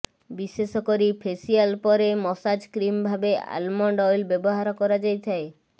ବିଶେଷ କରି ଫେସିଆଲ ପରେ ମସାଜ କ୍ରିମ ଭାବେ ଆଲମଣ୍ଡ ଅଏଲ ବ୍ୟବହାର କରାଯାଇଥାଏ